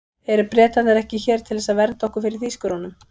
Eru Bretarnir ekki hér til þess að vernda okkur fyrir Þýskurunum?